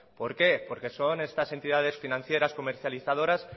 por qué porque son estas entidades financieras comercializadoras